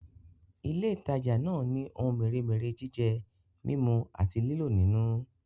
Ilé ìtajà náà ni ohun mèremère jíjẹ, mímú àti lílò nínú